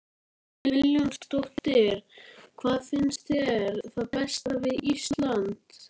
Hödd Vilhjálmsdóttir: Hvað finnst þér það besta við Ísland?